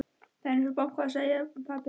Það er einhver að banka, sagði pabbi.